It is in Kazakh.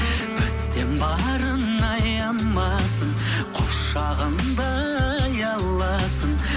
бізден барын аямасын құшағында аяласын